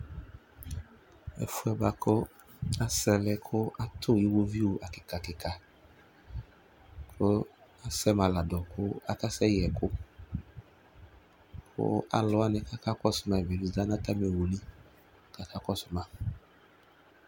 Ɛfʋɛ bʋakʋ asɛlɛ kʋ akatu iwoviu kikakika, kʋ asɛ ma ladu kʋ akasɛyɛ ɛkʋ Kʋ alu wani kakɔsʋ ma yɛ niza nʋ atami owu li, kʋ aka kɔsʋ ma